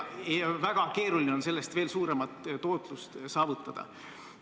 Väga keeruline on sellest veel suuremat tootlust saavutada.